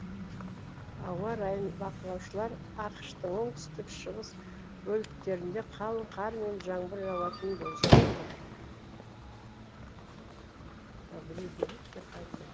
ауа райын бақылаушылар ақш тың оңтүстік шығыс бөліктерінде қалың қар мен жаңбыр жауатынын болжап отыр